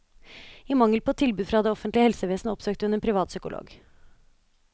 I mangel på tilbud fra det offentlige helsevesen oppsøkte hun en privat psykolog.